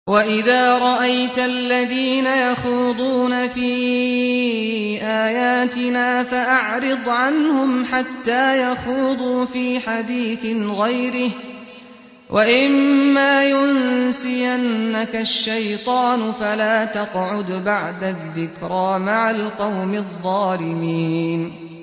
وَإِذَا رَأَيْتَ الَّذِينَ يَخُوضُونَ فِي آيَاتِنَا فَأَعْرِضْ عَنْهُمْ حَتَّىٰ يَخُوضُوا فِي حَدِيثٍ غَيْرِهِ ۚ وَإِمَّا يُنسِيَنَّكَ الشَّيْطَانُ فَلَا تَقْعُدْ بَعْدَ الذِّكْرَىٰ مَعَ الْقَوْمِ الظَّالِمِينَ